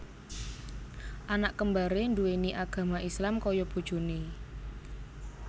Anak kembaré nduwéni agama Islam kaya bojoné